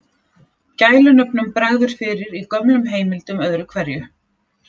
Gælunöfnum bregður fyrir í gömlum heimildum öðru hverju.